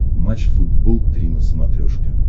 матч футбол три на смотрешке